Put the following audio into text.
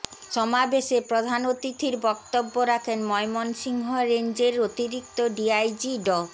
সমাবেশে প্রধান অতিথির বক্তব্য রাখেন ময়মনসিংহ রেঞ্জের অতিরিক্ত ডিআইজি ড